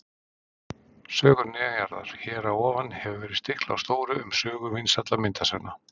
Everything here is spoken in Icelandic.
Sögur neðanjarðar Hér að ofan hefur verið stiklað á stóru um sögu vinsælla myndasagna.